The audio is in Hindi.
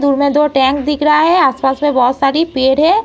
दूर में दो टैंक दिख रहा है। आस - पास में बहोत सारी पेड़ हैं।